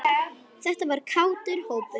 Þetta var kátur hópur.